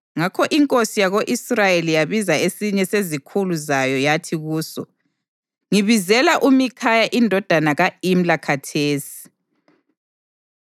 Ngakho inkosi yako-Israyeli yabiza esinye sezikhulu zayo yathi kuso, “Ngibizela uMikhaya indodana ka-Imla khathesi.”